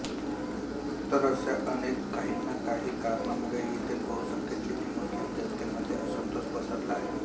तर अश्या अनेक काहीना काही कारणांमुळे येथील बहुसंख्य चिनी मुस्लिम जनतेमध्ये असंतोष पसरला आहे